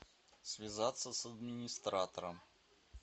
связаться с администратором